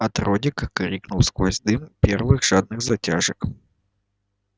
от родрик кивнул сквозь дым первых жадных затяжек